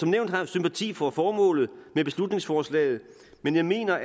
nævnt har jeg sympati for formålet med beslutningsforslaget men jeg mener